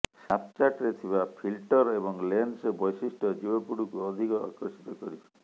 ସ୍ନାପ୍ଚାଟ୍ରେ ଥିବା ଫିଲ୍ଟର ଏବଂ ଲେନ୍ସ ବୈଶିଷ୍ଟ୍ୟ ଯୁବପିଢ଼ିକୁ ଅଧିକ ଆକର୍ଷିତ କରିଛି